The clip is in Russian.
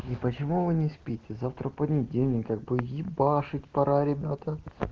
и почему вы не спите завтра понедельник как бы ебашить пора ребята